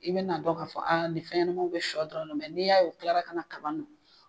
I bɛna na dɔn ka fɔ a ni fɛnɲɛnmaw bɛ shɔ dɔrɔn n'i y'a ye o kilara kana kaba nɔ.